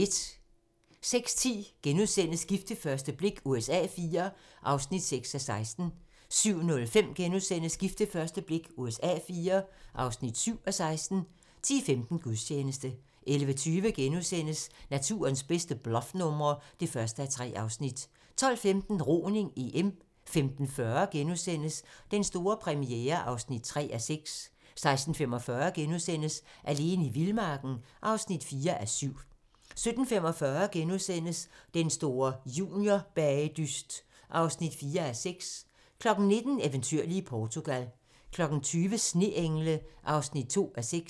06:10: Gift ved første blik USA IV (6:16)* 07:05: Gift ved første blik USA IV (7:16)* 10:15: Gudstjeneste 11:20: Naturens bedste bluffnumre (1:3)* 12:15: Roning: EM 15:40: Den store premiere (3:6)* 16:45: Alene i vildmarken (4:7)* 17:45: Den store juniorbagedyst (4:6)* 19:00: Eventyrlige Portugal 20:00: Sneengle (2:6)